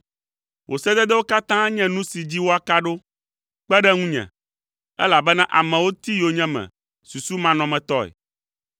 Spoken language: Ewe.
Wò sededewo katã nye nu si dzi woaka ɖo; kpe ɖe ŋunye, elabena amewo ti yonyeme susumanɔmetɔe.